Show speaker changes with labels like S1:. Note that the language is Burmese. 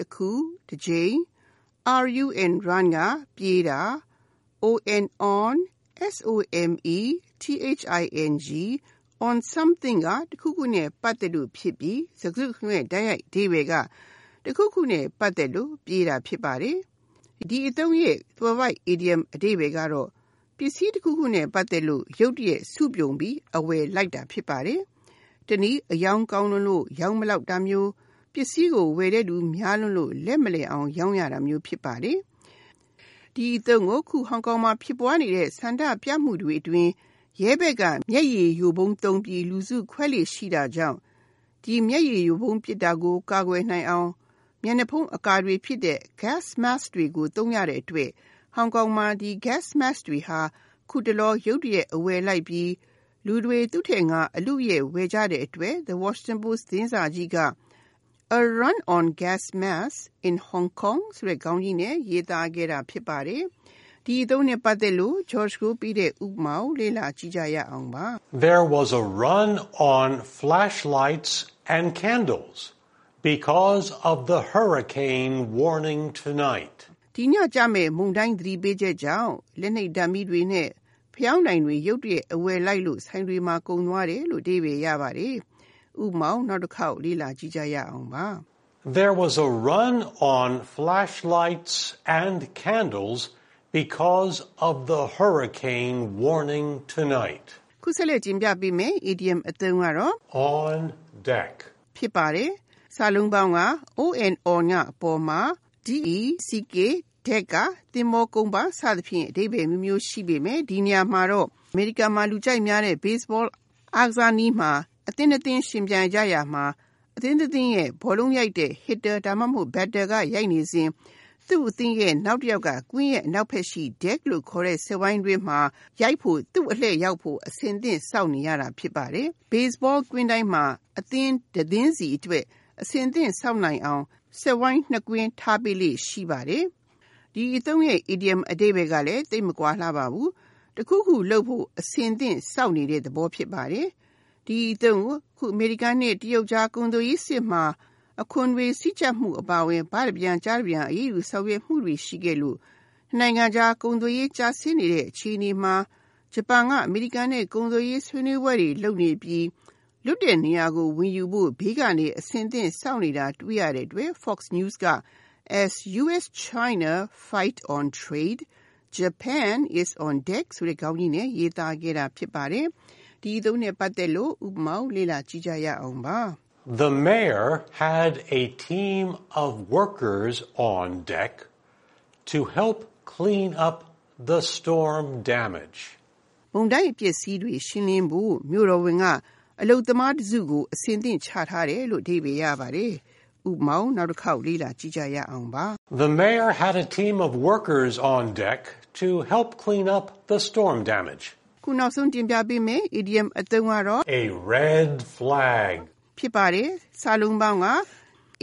S1: တခု၊ တကြိမ်) ၊ run (ပြေးတာ) ၊ on something (တခုခုနဲ့ပတ်သက်လို့) ဖြစ်ပြီး စကားစုတခုလုံးရဲ့ တိုက်ရိုက်အဓိပ္ပါယ်က တခုခုနဲ့ပတ်သက်လို့ ပြေးတာဖြစ်ပါတယ်။ ဒီအသုံးရဲ့အီဒီယံသွယ်ဝိုက်အဓိပ္ပါယ်က ပစ္စည်းတခုခုနဲ့ပတ်သက်လို့ ရုတ်တရက် စုပြုံပြီး အဝယ်လိုက်တာဖြစ်ပါတယ်။ တနည်း အရောင်းကောင်းလွန်းလို့ ရောင်းမလောက် ဖြစ်တာမျိုး၊ ပစ္စည်းကိုဝယ်တဲ့လူတွေများလွန်းလို့ လက်မလယ်အောင် ရောင်းရတာမျိုး ဖြစ်ပါတယ်။ ဒီအသုံးကို ခုဟောင်ကောင်မှာ ဖြစ်ပွါးနေတဲ့ ဆန္ဒပြမှုတွေအတွင်း ရဲဘက်က မျက်ရည်ယို ဗုံးတွေသုံးပြီး လူစုခွဲလေ့ရှိတာကြောင့် ဒီ မျက်ရည်ယိုဗုံးပစ်တဲ့ ဒဏ်ကနေ ကွယ်နိုင်အောင် မျက်နှာဖုံးအကာတွေဖြစ်တဲ့ Gas Masks တွေကို သုံးရတဲ့အတွက် ဟောင်ကောင်မှာ ဒီ Gas Masks တွေဟာ ခုတလော ရုတ်တရက် အဝယ် လိုက်ပြီး လူတွေက သူ့ထက်ငါ အလုအယက်ဝယ်ကြတဲ့အတွက် The Washington Post သတင်းစာကြီးက “A run on gas masks in Hong Kong “ ဆိုတဲ့ ခေါင်းကြီးနဲ့ ရေးသားခဲ့တာဖြစ်ပါတယ်။ ဥပမာ
S2: There was “a run on” flashlights and candles at stores because of the hurricane warning tonight.
S1: ဒီညကျမယ့် မုန်တိုင်းသတိပေးချက်ကြောင့် လက်နှိပ်ဓါတ်မီးတွေနဲ့ ဖယောင်းတိုင်တွေ ဆိုင်တွေမှာ ရုတ်တရက် အဝယ်လိုက်ခဲ့တယ်။ (၂)
S2: On Deck On (အ
S1: ပေါ်မှာ) ၊ deck က သဘောၤကုန်းပတ်စဖြင့်အဓိပ္ပါယ်အမျိုးမျိုးရှိပေမဲ့ ဒီနေရာမှာတော့ အမေရိကန်မှာ လူကြိုက်များတဲ့ baseball အားကစားနည်းမှာ အသင်း နှစ်သင်း ယှဉ်ပြိုင်ကြရာမှာ အသင်းတသင်းရဲ့ ဘောလုံး ရိုက်တဲ့ hitter ဒါမှမဟုတ် batter က ရိုက်နေစဉ် သူ့အသင်းရဲ့အရံ hitter နောက် တယောက်က ကွင်းရဲ့ အနောက်ဘက်က Deck လို့ခေါ်တဲ့ စက်ဝိုင်းတွင်းမှာ သူ့အလှည့်ရောက်ဖို့ အဆင်သင့် စောင့်နေရတာ ဖြစ်ပါတယ်။ Baseball ကစားကွင်းတိုင်းမှာ အသင်းတသင်းစီအတွက် အဆင်သင့်စောင့်နိုင်ဖို့ (၅ ပေ) ပတ်လည်ရှိတဲ့ စက်ဝိုင်းနှစ်ကွင်း ထားပေးလေ့ ရှိပါတယ်။ ဒီအသုံးရဲ့ Idiom အဓိပ္ပါယ် ကလည်း သိပ်မကွာလှပါဘူး။ တခုခု လုပ်ဖို့ အဆင်သင့်စောင့်နေတဲ့သဘော ဖြစ်ပါတယ်။ ဒီအသုံးကို အခု အမေရိကန်နဲ့ တရုတ်ကြား ကုန်သွယ်ရေး စစ်မှာ အခွန်တွေစည်းကြပ်မှု အပါအဝင် ဘတပြန်၊ ကျားတပြန် အရေးယူဆောင်ရွက်မှုတွေရှိခဲ့လို့ နှစ်နိုင်ငံကြား ကုန်သွယ်ရေး ကျဆင်းနေတဲ့အခြေအနေမှာ ဂျပန်က အမေရိကန်နဲ့ကုန်သွယ်ရေး ဆွေးနွေးပွဲတွေ လုပ်ပြီး လွတ်နေတဲ့နေရာကိုဝင်ယူဖို့ ဘေးကနေ အဆင်သင့် စောင့်နေ တာ တွေ့ရတဲ့အတွက် Fox News က- “As US-China fight on trade, Japan is on deck.” ဆိုတဲ့ခေါင်းကြီးနဲ့ရေးသားခဲ့တာဖြစ်ပါတယ်။ ဥပမာ
S2: The mayor had a team of workers “on deck” to help clean up the storm damage.
S1: မုန်တိုင်းအပျက်အစီးတွေရှင်းလင်းဖို့မြို့တော်ဝန်က အလုပ်သမားတစုကို အဆင်သင့် ချထားတယ်။ (၃) A Red Flag